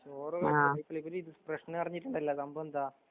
ചോറ് വീട്ടിലേക്കൊരിലുസ്‌ട്രേഷന്പറഞ്ഞിരുന്നല്ല സംഭവെന്താ?